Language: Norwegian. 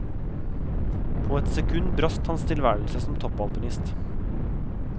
På et sekund brast hans tilværelse som toppalpinist.